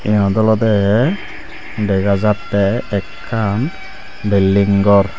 yeanot olodey degajatte ekkan belding gor.